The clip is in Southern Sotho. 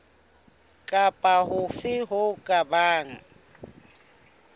kapa hofe ho ka bang